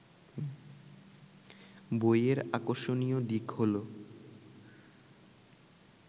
বইয়ের আকর্ষণীয় দিক হলো